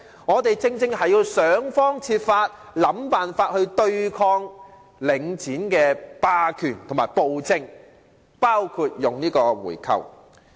我們必須想方設法對抗領展的霸權和暴政，包括採取回購的方式。